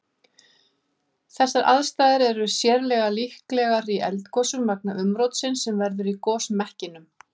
Þessar aðstæður er sérlega líklegar í eldgosum vegna umrótsins sem verður í gosmekkinum.